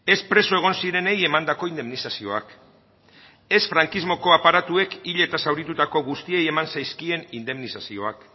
ez preso egon zirenei emandako indemnizazioak ez frankismoko aparatuek hil eta zauritutako guztiei eman zaizkien indemnizazioak